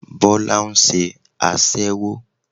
Bólá nse aṣẹ́wó